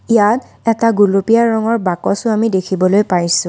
ইয়াত এটা গুলপীয়া ৰঙৰ বাকছো আমি দেখিবলৈ পাইছোঁ।